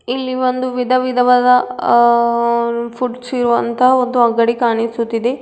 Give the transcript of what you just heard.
ಇಲ್ಲಿ ಒಂದು ವಿಧವಿದವಾದ ಆ ಫುಡ್ ಇರುವಂತ ಒಂದು ಅಂಗಡಿ ಕಾಣಿಸುತಿದೆ.